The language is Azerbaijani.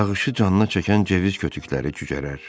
Yağışı canına çəkən cövüz kötükləri cücərər.